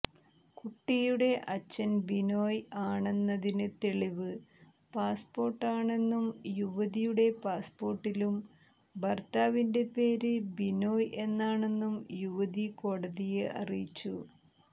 കുട്ടിയുടെ അച്ഛൻ ബിനോയ് ആണെന്നതിന് തെളിവ് പാസ്പോർട്ടാണെന്നും യുവതിയുടെ പാസ്പോർട്ടിലും ഭർത്താവിന്റെ പേര് ബിനോയ് എന്നാണെന്നും യുവതി കോടതിയെ അറിയിച്ചു